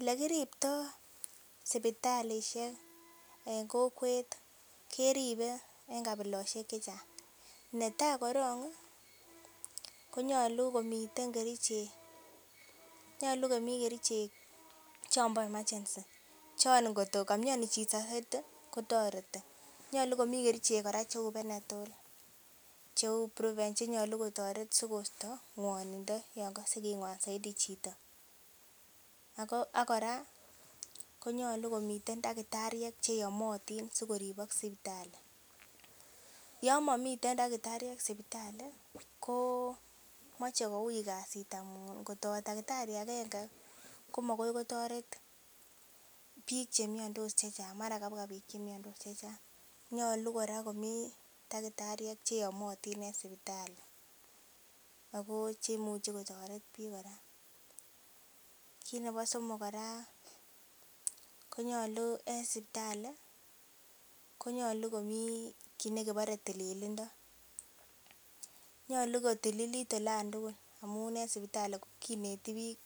Elekiriptoo sipitalisiek en kokwet ih keribe en kabilosiek chechang netaa korong ih konyolu komiten kerichek, nyolu komii kerichek chombo emergency chon kotko komioni chito soiti kotoreti, nyolu komii kerichek kora cheu panadol cheu brufen chenyolu kotoret sikosto ng'wonindo yon kose king'wan soiti chito. Ako ak kora konyolu komiten cheyomotin sikoribok sipitali. Yon momiten takitariek sipitali komoche koui kasit amun kot owe takitari agenge komakoi kotoret biik chemiondos chechang mara kabwa biik chemiondos chechang mara kabwa biik che miondos chechang nyolu kora komii takitariek cheyomotin en sipitali ako cheimuchi kotoret biik kora. Kit nebo somok kora konyolu en sipitali konyolu komii kit nekibore tililindo nyolu kotililit olan tugul amun en sipitali kineti biik